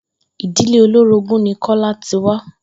Ìdílé olórogún ni Kó̩lá ti wá